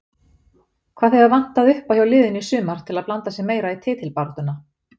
Hvað hefur vantað upp hjá liðinu í sumar til að blanda sér meira í titilbaráttuna?